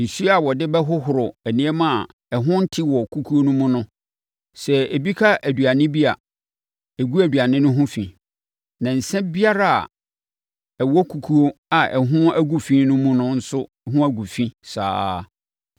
Nsuo a wɔde bɛhohoro nneɛma a ɛho nte wɔ kukuo no mu no, sɛ ebi ka aduane bi a, ɛgu aduane no ho fi. Na nsã biara a ɛwɔ kukuo a ɛho agu fi no mu no nso ho gu fi saa ara.